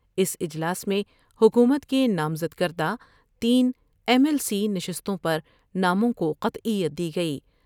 اس اجلاس میں حکومت کے نامزد کردہ تین ایم ایل سی نشستوں پر ناموں کو قطعیت دی گئی ۔